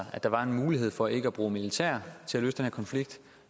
der var en mulighed for ikke at bruge militær